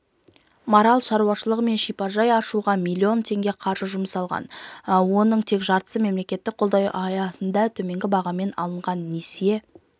марал шаруашылығы мен шипажай ашуға миллион теңге қаржы жұмсалған оның тең жартысы мемлекеттік қолдау аясында төменгі бағаммен алынған несие